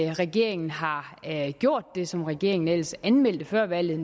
regeringen har gjort det som regeringen ellers anmeldte før valget